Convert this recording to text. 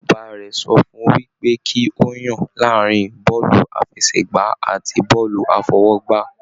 Bàbá rẹ sọ fún wipe ki o yan láàrin bọọlu àfẹ́sẹ̀gbà àti bọọlu afọwọ́gbá.